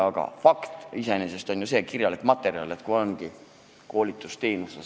Aga on fakt, et tegu on koolitusteenusega.